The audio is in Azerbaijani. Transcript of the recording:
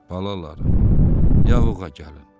Balalarım, yağığa gəlin.